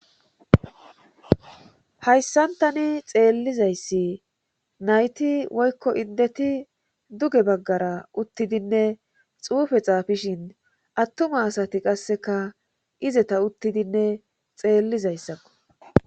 hayssantani xeellizayssi nayti woykko indeti duge baggara uttidinne xuufe xaafishin attuma asati qasseka izeta uttidinne xeellizayssakko